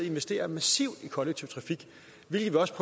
investere massivt i kollektiv trafik hvilket vi også